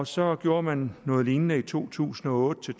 så gjorde man noget lignende i to tusind og otte